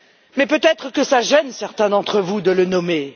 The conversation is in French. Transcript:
Mais peut être que cela gêne certains d'entre vous de le nommer.